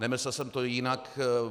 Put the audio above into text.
Nemyslel jsem to jinak.